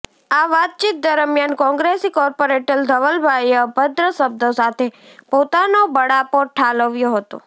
આ વાતચીત દરમિયાન કોંગ્રેસી કોર્પોરેટર ધવલભાઇએ અભદ્ર શબ્દો સાથે પોતાનો બળાપો ઠાલવ્યો હતો